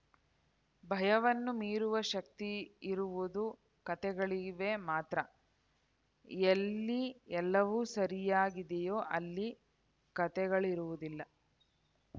ಭಯವನ್ನು ಮೀರುವ ಶಕ್ತಿಯಿರುವುದು ಕತೆಗಳಿವೆ ಮಾತ್ರ ಎಲ್ಲಿ ಎಲ್ಲವೂ ಸರಿಯಾಗಿದೆಯೋ ಅಲ್ಲಿ ಕತೆಗಳಿರುವುದಿಲ್ಲ